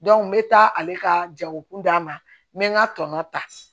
n bɛ taa ale ka jago kun d'a ma n bɛ n ka tɔnɔ ta